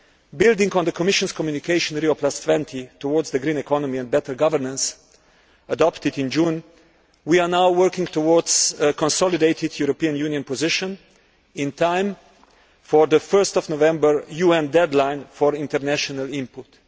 Building on the Commission's communication Rio20 towards the green economy and better governance', adopted in June, we are now working towards a consolidated European Union position in time for the 1 November UN deadline for international input.